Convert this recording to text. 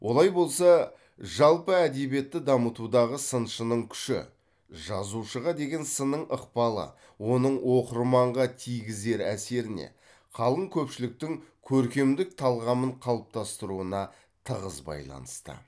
олай болса жалпы әдебиетті дамытудағы сыншының күші жазушыға деген сынның ықпалы оның оқырманға тигізер әсеріне қалың көпшіліктің көркемдік талғамын қалыптастыруына тығыз байланысты